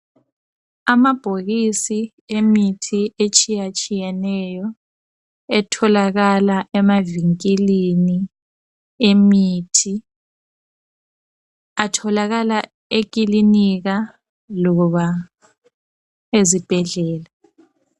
Amabhokisi emithi etshiyatshiyeneyo etholakala emavinkilini imithi atholakala ekilinika loba ezibhedlela.